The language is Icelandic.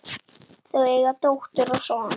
Þau eiga dóttur og son.